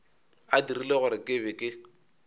a dirile gore ke be